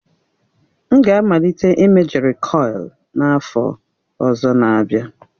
M ga-amalite ịme jerịkọil n'afọ ọzọ n'abia.